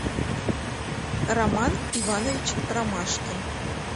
роман иванович ромашкин